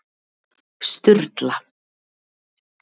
Sturla